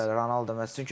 Bəli, bəli, Ronaldo.